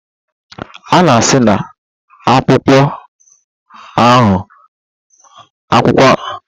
A-na esi na akpụkpọ ahụ anụ emepụta lédà.